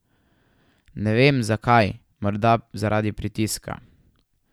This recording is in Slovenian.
Ne vem zakaj, morda zaradi pritiska.